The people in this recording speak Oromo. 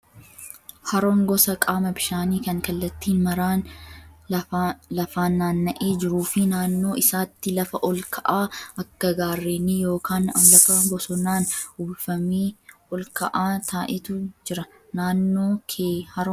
Haroon gosa qaama bishaanii kan kallattii maraan lafaan naanna'ee jiruu fi naannoo isaatti lafa ol ka'aa akka gaarrenii yookaan lafa bosonaan uwwifamee ol ka'aa ta'etu jira. Naannoo kee haroon jiraa?